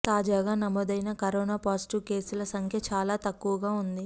తాజాగా నమోదైన corona positive కేసుల సంఖ్య చాలా తక్కువగా ఉంది